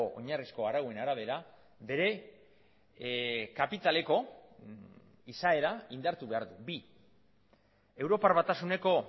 oinarrizko arauen arabera bere kapitaleko izaera indartu behar du bi europar batasuneko